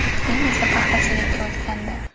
Keyin esa paxtachilikka o‘tgandi.